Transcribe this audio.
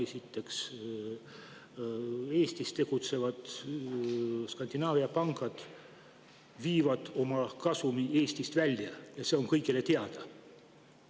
Esiteks, Eestis tegutsevad Skandinaavia pangad viivad oma kasumi Eestist välja, see on kõigile teada.